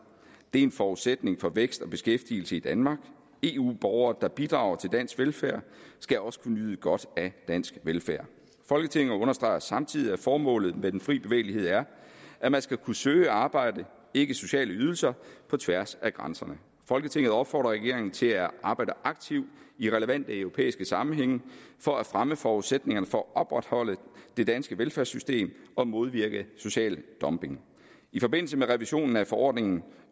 det er en forudsætning for vækst og beskæftigelse i danmark eu borgere der bidrager til dansk velfærd skal også kunne nyde godt af dansk velfærd folketinget understreger samtidig at formålet med den frie bevægelighed er at man skal kunne søge arbejde ikke sociale ydelser på tværs af grænserne folketinget opfordrer regeringen til at arbejde aktivt i relevante europæiske sammenhænge for at fremme forudsætningerne for at opretholde det danske velfærdssystem og modvirke social dumping i forbindelse med revisionen af forordning